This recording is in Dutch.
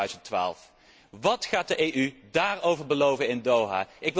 2012. Wat gaat de EU daarover beloven in Doha?